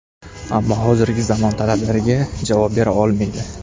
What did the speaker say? Ammo hozirgi zamon talablariga javob bera olmaydi.